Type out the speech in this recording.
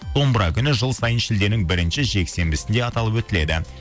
домбыра күні жыл сайын шілденің бірінші жексенбісінде аталып өтіледі